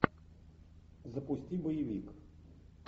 запусти боевик